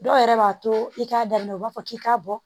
Dɔw yɛrɛ b'a to i k'a daminɛ u b'a fɔ k'i k'a bɔ